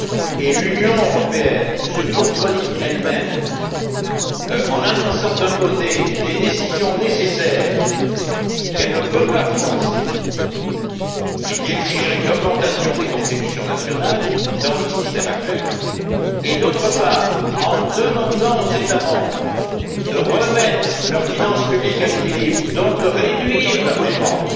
Et l'Union européenne se contredit elle même en annonçant d'un côté des décisions nécessaires qu'elle ne peut pas financer et qui exigeraient une augmentation des contributions nationales dans le système actuel et, d'autre part, en demandant aux États membres de remettre leurs finances publiques à l'équilibre, donc de réduire leurs dépenses.